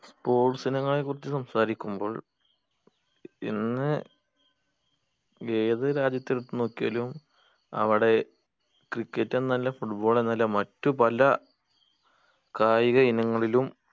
sports ഇനങ്ങളെ കുറിച്ച് സംസാരിക്കുമ്പോൾ ഇന്ന് ഏത് രാജ്യത്തെ എടുത്ത് നോക്കിയാലും അവിടെ cricket എന്നല്ല foot ball എന്നല്ല മറ്റു പല കായിക ഇങ്ങളിലും